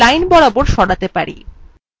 or across lines